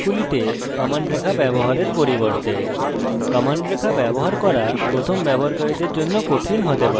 এটি ডাটাবেসের ইন্টারফেস শুরু করার জন্য ভালো উপায় কাজগুলিতে কমান্ড রেখা ব্যবহার করার পরিবর্তে